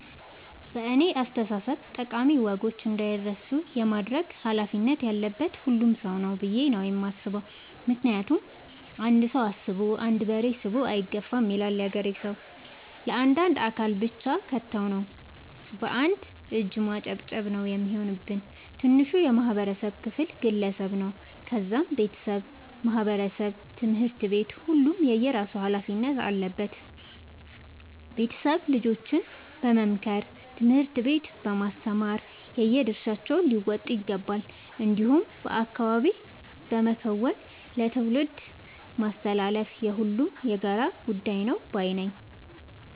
በእኔ አስተሳሰብ ጠቃሚ ወጎች እንዳይረሱ የማድረግ ኃላፊነት ያለበት ሁሉም ሰው ነው። ብዬ ነው የማስበው ምክንያቱም "አንድ ሰው አስቦ አንድ በሬ ስቦ አይገፋም " ይላል ያገሬ ሰው። ለአንድ አካል ብቻ ከተው ነው። በአንድ እጅ ማጨብጨብ ነው የሚሆንብን። ትንሹ የማህበረሰብ ክፍል ግለሰብ ነው ከዛም ቤተሰብ ማህበረሰብ ትምህርት ቤት ሁሉም የየራሱ ኃላፊነት አለበት ቤተሰብ ልጆችን በመምከር ትምህርት ቤት በማስተማር የየድርሻቸውን ሊወጡ ይገባቸዋል። እንዲሁም በአካባቢ በመከወን ለትውልድ ማስተላለፍ የሁሉም የጋራ ጉዳይ ነው ባይነኝ።